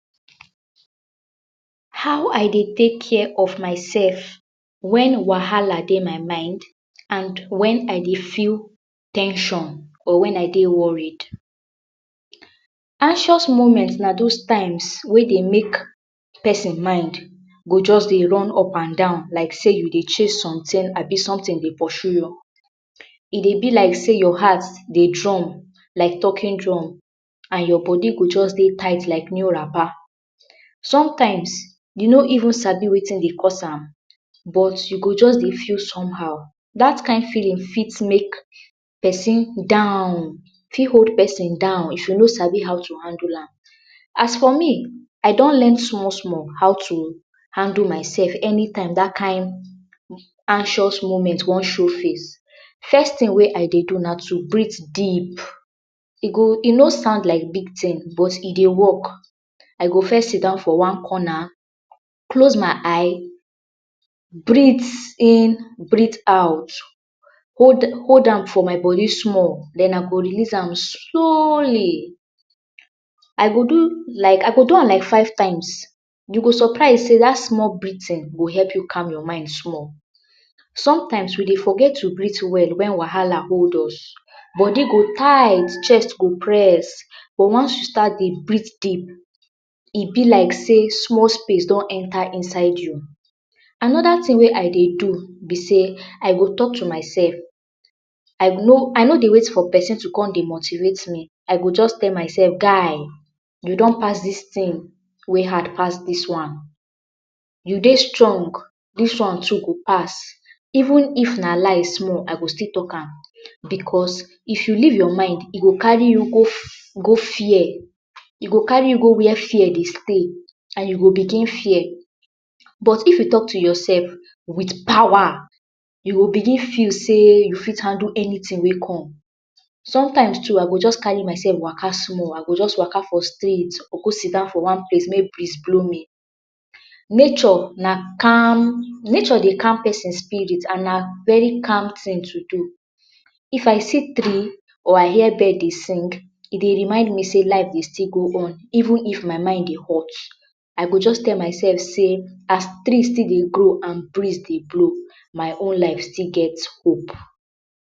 How I de take care of myself when wahala day my mind and when I dey feel ten sion or when I dE worried. anxious moment now those times wey de make person mind go just de run up and down like say you dey chase something abi something de pursue you. E de be like say your heart de drum, like talking drum and your body go just de tight like new rapper. sometimes you know even sabi wetin dey cause am but you go just day feel somehow that can feeling fit make person down, fit hold person down if you no Sabi how to handle am. as for me I don learn small small how to handle myself anytime that kind anxious moment wan show face first thing wey I de do na to breath deep, e go, e no sound like big thing but e de work. I go first sit down for one corner close my eye breath in, breath out hold am for my body small den I go release am slowly I go do like, I go do am like five times you go surprise dat small breathing go help you calm your mind small. sometimes we de forget to breath well when wahala hold us, body go tight chest go press but once you start de breathe deep e be like say small space don enter inside you Another thing wey I did do be say, I dey talk to myself I no de wait for person to come motivate me, I go just tell myself guy you don't pass this thing way hard pass this one you de strong this one to go past even if na lie small I fit talk am because if you leave your mind e go carry you go fear, e go carry you go where fear dey stay and you go begin fear but if you talk to yourself with power, you go begin feel sey u you fit pass anything wey come sometimes to I go just carry myself waka small, I go just waka small for street, I go go seat down for one place may breeze blow me. nature de calm, nature dey calm person spirit and na very calm thing to do. if I see tree or I hear birds de sing e de remind me say life dey still go on even if my heart de hot I go just tell myself say as tree still dey grow and breeze dey blow my own life still get Hope